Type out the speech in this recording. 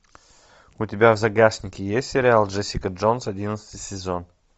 у тебя в загашнике есть сериал джессика джонс одиннадцатый сезон